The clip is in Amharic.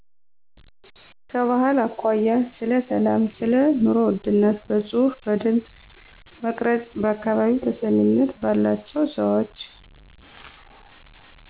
ከባህል አኮያ ስለ ሰላም ሰለኑሮ ውድነት በጽሁፍ በድምጽ መቅረጽ በአካባቢው ተሰሚነት ባላቸው ሰወች